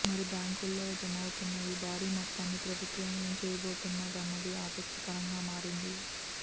మరి బ్యాంకుల్లో జమవుతున్న ఈ భారీ మొత్తాన్ని ప్రభుత్వం ఏం చేయబోతుందన్నది ఆసక్తికరంగా మారింది